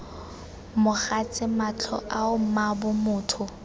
mogatse matlho ao mmaabo motho